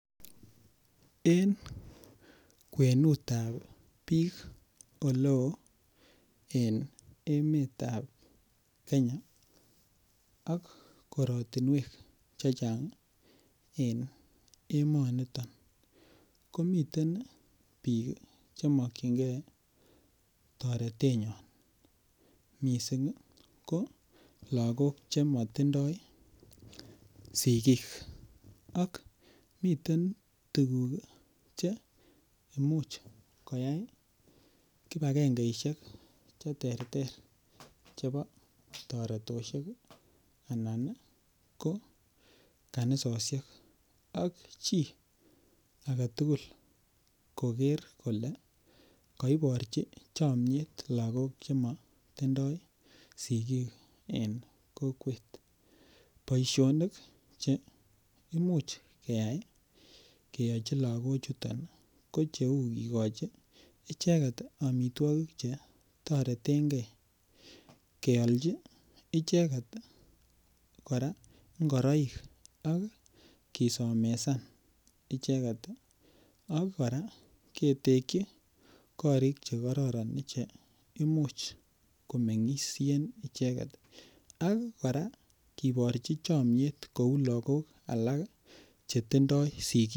Eng kwenutab biik eleo en emetab kenya ak korotinwek chechang en emonito komiten biik chemokyinge toretenywan missing ko lakok chemotindoi sigik ak miten tuguk cheimuch koyai kipakengeisiek cheterter chebo toretosiek anan ko kanisosiek ak chi agetugul koker kole koiborchi chomiet lakok chemotindoo sigik en kokwet boisionik cheimuch keyai keyochi lakochuton ko cheu kikochi icheket amitwokik chetoretengee, kealchi icheket kora ngoroik anan kisomesan icheket ii ak kora ketekyi korik chekororon ichek cheimuch komengisien icheket ak kora kiborchi chomiet kou lakok alak chetindoo sigik.